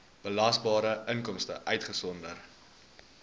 belasbare inkomste uitgesonderd